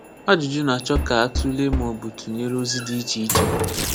Ajụjụ na-achọ ka a tụlee maọbụ tụnyere ozi dị iche iche.